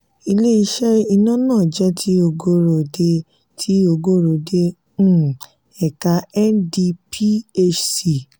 ilé-iṣẹ iná náà jẹ ti ogorode ti ogorode um ẹka ndphc